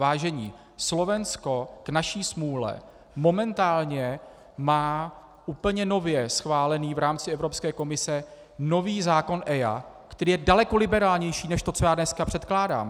Vážení, Slovensko k naší smůle momentálně má úplně nově schválený v rámci Evropské komise nový zákon EIA, který je daleko liberálnější než to, co já dneska předkládám.